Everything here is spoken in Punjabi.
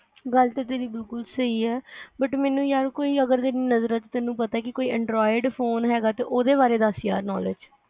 ਗੱਲ ਤੇ ਤੇਰੀ ਬਿਲਕੁੱਲ ਸਹੀ ਆ but ਮੈਨੂੰ ਯਾਰ ਕੋਈ ਅਗਰ ਨਜ਼ਰ ਚ ਤੈਨੂੰ ਪਤਾ ਕਿ ਕੋਈ android phone ਹੈਗਾ ਤਾ ਉਹਦੇ ਬਾਰੇ ਦੱਸ ਯਰ knowledge